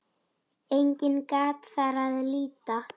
Einnig gat þar að líta